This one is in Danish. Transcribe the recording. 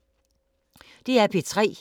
DR P3